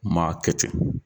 Maa kɛ ten.